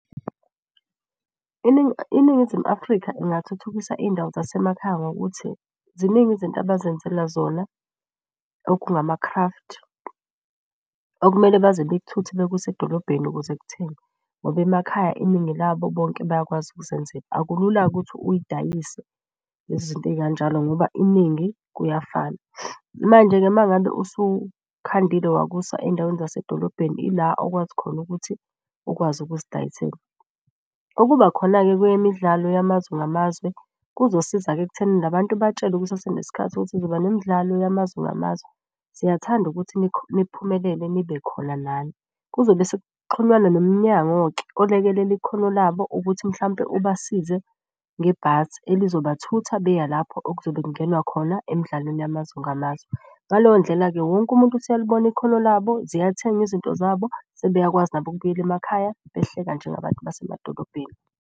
INingizimu Afrika ingathuthukisa iy'ndawo zasemakhaya ngokuthi ziningi izinto abazenzela zona okungama-craft. Okumele baze bekuthuthe bekuse edolobheni ukuze kuthengwe ngoba emakhaya iningi labo bonke bayakwazi ukuzenzela. Akulula-ke ukuthi uyidayise lezi zinto ey'kanjalo ngoba iningi kuyafana. Manje-ke mangabe usukhandile wakusa ey'ndaweni zasedolobheni ila okwazi khona ukuthi ukwazi ukuzidayisela. Okuba khona-ke kweyemidlalo yamazwe ngamazwe, kuzosiza-ke ekuthenini la bantu batshelwe kusasenesikhathi ukuthi nemdlalo yamazwe ngamazwe. Siyathanda ukuthi niphumelele nibe khona nani. Kuzobe sekuxhunywa nomnyango-ke olekelela ikhono labo ukuthi mhlawumpe ubasize ngebhasi elizobathutha beya lapho okuzobe kungenwa khona emidlalweni yamazwe ngamazwe. Ngaleyo ndlela-ke wonke umuntu useyalibona ikhono labo, ziyathengwa izinto zabo sebeyakwazi nabo ukubuyela emakhaya behleka njengabantu basemadolobheni.